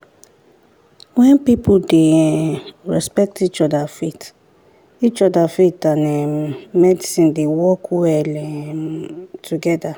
when people dey um respect each other faith each other faith and um medicine dey work well um together.